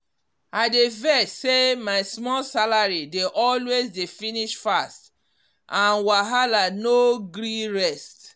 i dey vex say my small salary de always dey finish fast and wahala no gree rest